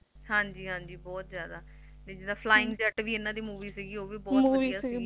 ਹਾਂਜੀ ਹਾਂਜੀ ਬਹੁਤ ਜਾਦਾ ਜਿੱਦਾ Flying Jatt ਵੀ ਇਹਨਾਂ ਦੀ Movie ਸੀ